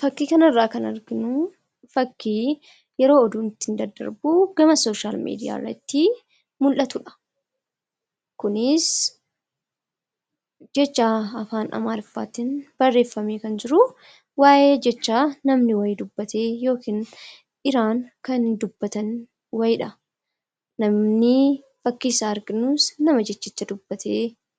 Fakkii kanarraa kan arginu fakkii yeroo oduun ittiin dadarbu gama sooshaal miidiyaarratti mul'atudha. Kunis jecha afaan amaariffaatiin barreeffamee kan jiru waayee jecha namni dubbatee yookiin Iraan dubbatan wayiidha. Namni fakkiisaa arginus nama jechicha dubbate